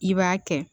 I b'a kɛ